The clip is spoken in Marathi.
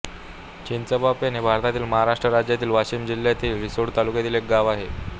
चिंचांबापेण हे भारतातील महाराष्ट्र राज्यातील वाशिम जिल्ह्यातील रिसोड तालुक्यातील एक गाव आहे